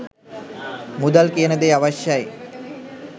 මුදල් කියන දේ අවශ්‍යයි